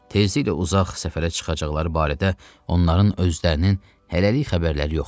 Tezliklə uzaq səfərə çıxacaqları barədə onların özlərinin hələlik xəbərləri yoxdur.